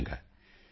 ਭੈਣ ਚਿਨਮਈ॥